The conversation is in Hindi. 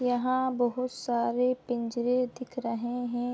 यहाँ बहुत सारे पिंजरे दिख रहै है।